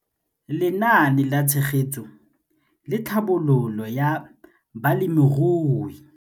Lenaane la Tshegetso le Tlhabololo ya Balemirui.